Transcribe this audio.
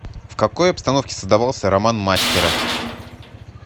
в какой обстановке создавался роман мастера